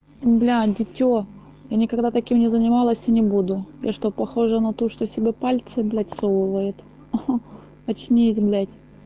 бля дитё я никогда таким не занималась и не буду я что похожа на ту что себе пальцы блять всовывает ха очнись блять